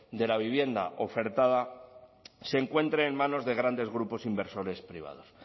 de la vivienda ofertada se encuentre en manos de grandes grupos inversores privados